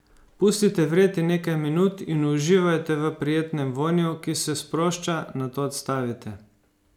Pustite vreti nekaj minut in uživajte v prijetnem vonju, ki se sprošča, nato odstavite.